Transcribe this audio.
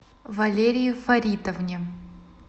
валерии фаритовне